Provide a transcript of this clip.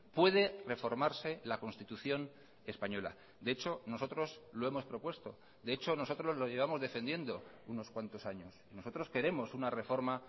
puede reformarse la constitución española de hecho nosotros lo hemos propuesto de hecho nosotros lo llevamos defendiendo unos cuantos años nosotros queremos una reforma